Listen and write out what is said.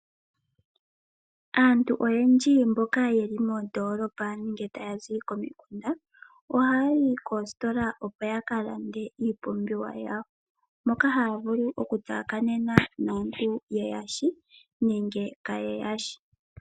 Aantu oyendji mboka yeli moondolopa nenge taya zi komikunda, ohaya yi koositola opo ya kalande iipumbiwa yawo, moka haya vulu oku tsakanena naatu ye yashi nenge kaye yashi.